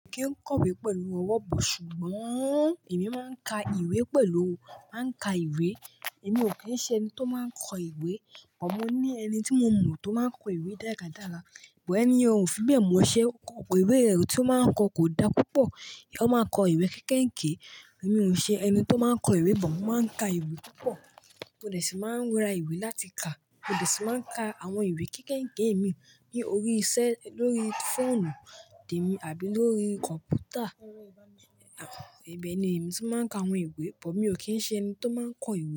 Mi kì í kọ ìwé pẹ̀lú ọwọ́ bù, ṣùgbọ́n èmi máa ń ka ìwé pẹ̀lú o, máa ń ka ìwé. Èmi ò kí ń ṣẹ ẹni tó máa ń kọ ìwé. But mo ní ẹni tí mo mọ̀ tó máa ń kọ ìwé dáradára, but ẹni ọ fi bẹ̀ mọṣẹ́, ó kọ ìwé rẹ̀, tí ó máa ń kọ kò da púpọ̀. Ó máa ń kọ ìwé kéékèèké. Èmi ò ṣe ẹni tó máa ń kọ ìwé but mo máa ń ka ìwé púpọ̀. Mo de ṣì máa ń ra ìwé láti kà, mo dè sì máa ń ka àwọn ìwé kéékèèké mi ní orí i ṣẹ́, lórí fóònù tèmi àbí lórí kọ̀ǹpútà. Ibẹ̀ ni èmi tí máa ń ka àwọn ìwé, bọ̀ èmi ò kí ń ṣe ẹni tó máa ń kọ ìwé.